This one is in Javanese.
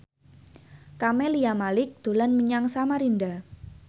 Camelia Malik dolan menyang Samarinda